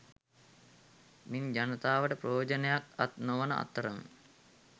මින් ජනතාවට ප්‍රයෝජනයක් අත් නොවන අතරම